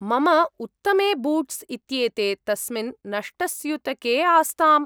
मम उत्तमे बूट्स् इत्येते तस्मिन् नष्टस्यूतके आस्ताम्।